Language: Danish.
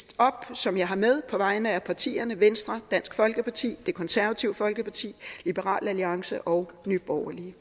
som jeg har med på vegne af partierne venstre dansk folkeparti det konservative folkeparti liberal alliance og nye borgerlige